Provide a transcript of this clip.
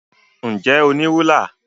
Ǹ jẹ́ o ní rúlà?